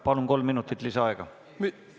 Palun, kolm minutit lisaaega!